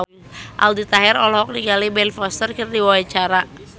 Aldi Taher olohok ningali Ben Foster keur diwawancara